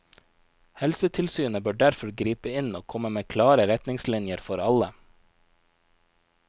Helsetilsynet bør derfor gripe inn og komme med klare retningslinjer for alle.